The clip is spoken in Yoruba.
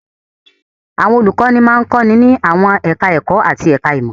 Àwọn olùkọ́ní máa ń kọ́ni ní àwọn ẹ̀ka-ẹ̀kọ́ àti ẹ̀ka-ìmọ̀.